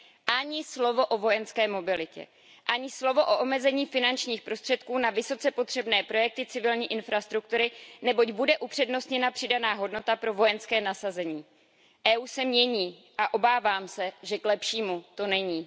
Ani slovo o vojenské mobilitě. Ani slovo o omezení finančních prostředků na vysoce potřebné projekty civilní infrastruktury, neboť bude upřednostněna přidaná hodnota pro vojenské nasazení. Evropská unie se mění a obávám se, že k lepšímu to není.